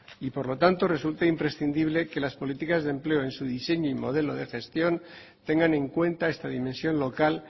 y por lo tanto resulta imprescindible que las políticas de empleo en su diseño y modelo de gestión tengan en cuenta esta dimensión local